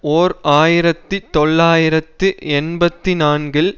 ஓர் ஆயிரத்தி தொள்ளாயிரத்து எண்பத்தி நான்கில்